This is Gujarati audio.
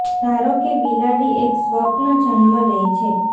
ધારો કે બિલાડી એક સ્વપ્ન જન્મ લે છે